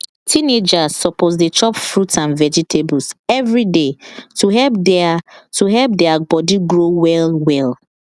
teenagers suppose dey chop fruit and vegetables every day to help their to help their body grow well well